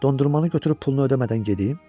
Dondurmanı götürüb pulunu ödəmədən gedim?